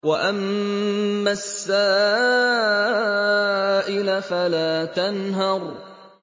وَأَمَّا السَّائِلَ فَلَا تَنْهَرْ